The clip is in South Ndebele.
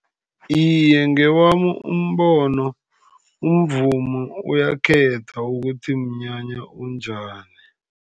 Iye, ngewami umbono, umvumo uyakhetha ukuthi mnyanya onjani.